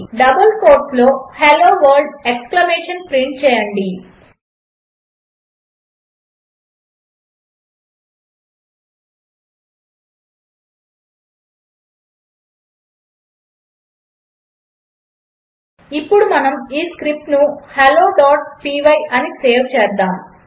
double కోట్స్లో hello world exclamation print చేయండి ఇప్పుడు మనము ఈ స్క్రిప్ట్ను helloపై అని సేవ్ చేద్దాము